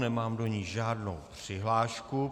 Nemám do ní žádnou přihlášku.